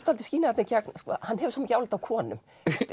dálítið skína þarna í gegn að hann hefur svo mikið álit á konum